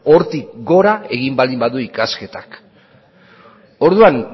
hortik gora egin baldin badu ikasketak orduan